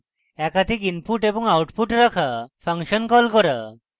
একাধিক inputs এবং outputs রাখা ফাংশন call করা